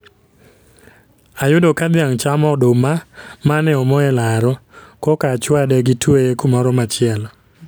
Ayudo ka dhiang' chamo oduma mane omo e laro, koka achwade gi tweye kumoro machielo